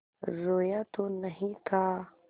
रोया तो नहीं था